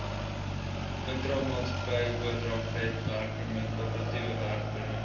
intramaatskappyoordragwerkpermit korporatiewe werkpermit